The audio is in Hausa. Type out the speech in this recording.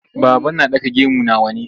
Baba na ɗaka gemu na wane.